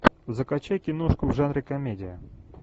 закачай киношку в жанре комедия